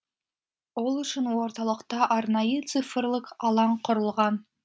ол үшін орталықта арнайы цифрлық алаң құрылған